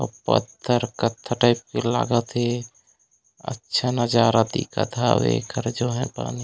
अउ पत्थर कत्था टाइप के लागत हे अच्छा नज़ारा दिखत हावे घर जो हे पानी--